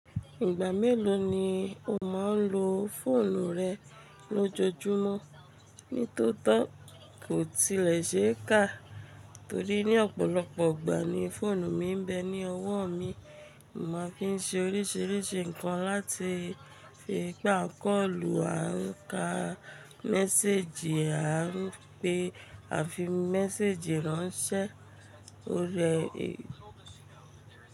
Ìgbà mélòó ni o máa ń lo fóònù rẹ lójoojúmọ́? Nítótó kò tilẹ̀ ṣe é kà, torí ní ọ̀pọ̀lọpọ̀ ìgbà ni fóònù mi ń bẹ ní ọwọ́ mi. Mo máa ń fi ń ṣe oríṣìíríṣìí ǹkan láti fi pa kọ́ọ̀lù, a ń ka mẹ́séjì, á rọ́pè àfi mẹ́séjì ránṣẹ́, ó rẹ́